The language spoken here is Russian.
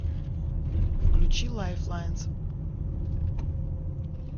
включи лайфлайнс